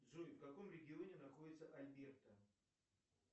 джой в каком регионе находится альберта